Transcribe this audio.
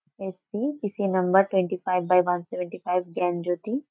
S. C. T .C. Number twenty five by one seventy five Gyanjyoti.